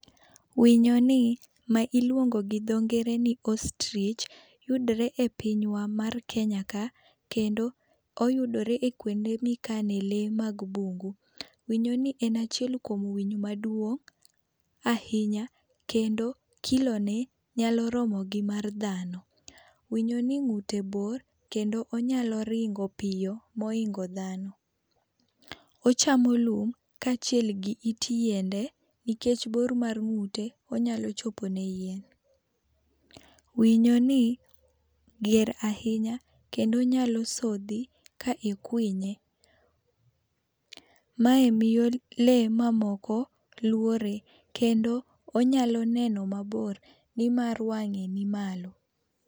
Winyo ni ma iluongo gi dho ngere ni ostrich, yudore e pinywa mar Kenya ka. Kendo oyudore ekuonde ma ikane le mag bungu. Winyo ni en achiel kuom winyo maduong' ahinya. Kendo kilo ne nyalo romo gi mar dhano. Winyo ni ng'ute bor kendo onyalo ringo piyo mohingo dhano. Ochamo lum ka achiel gi it yiende nikech bor mar ng'ute onyalo chopo ne yien. Winyo ni ger ahinya kendo onyalo sodhi ka ikwinye. Mae miyo le mamoko lwore kendo onyalo neno mabor nimar wang'e ni malo.